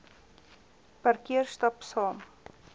parkeer stap saam